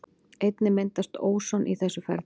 Einnig myndast óson í þessu ferli.